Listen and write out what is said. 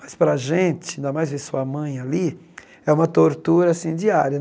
Mas para a gente, ainda mais ver sua mãe ali, é uma tortura assim diária.